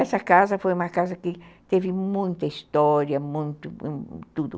Essa casa foi uma casa que teve muita história, muito tudo.